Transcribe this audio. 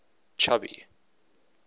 chubby